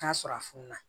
N'a sɔrɔ a fununa